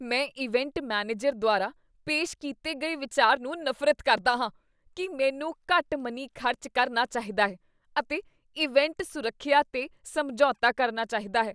ਮੈਂ event manager ਦੁਆਰਾ ਪੇਸ਼ ਕੀਤੇ ਗਏ ਵਿਚਾਰ ਨੂੰ ਨਫ਼ਰਤ ਕਰਦਾ ਹਾਂ ਕੀ ਮੈਨੂੰ ਘੱਟ ਮਨੀ ਖ਼ਰਚ ਕਰਨਾ ਚਾਹੀਦਾ ਹੈ ਅਤੇ ਇਵੈਂਟ ਸੁਰੱਖਿਆ 'ਤੇ ਸਮਝੌਤਾ ਕਰਨਾ ਚਾਹੀਦਾ ਹੈ।